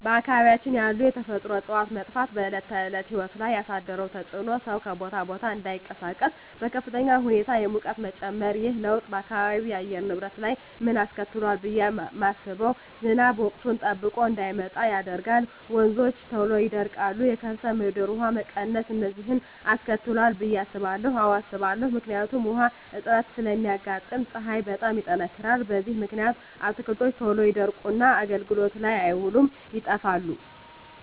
በአካባቢያችን ያሉ የተፈጥሮ እፅዋት መጥፋት በዕለት ተዕለት ሕይወት ላይ ያሣደረው ተፅኖ ሠው ከቦታ ቦታ እዳይንቀሣቀስ፤ በከፍተኛ ሁኔታ የሙቀት መጨመር። ይህ ለውጥ በአካባቢው የአየር ንብረት ላይ ምን አስከትሏል ብየ ማስበው። ዝናብ ወቅቱን ጠብቆ እዳይመጣ ያደርጋል፤ ወንዞች ቶሎ ይደርቃሉ፤ የከርሠ ምድር ውሀ መቀነስ፤ እነዚን አስከትሏል ብየ አስባለሁ። አዎ አስባለሁ። ምክንያቱም ውሀ እጥረት ስለሚያጋጥም፤ ፀሀይ በጣም ይጠነክራል። በዚህ ምክንያት አትክልቶች ቶሎ ይደርቁና አገልግሎት ላይ አይውሉም ይጠፋሉ።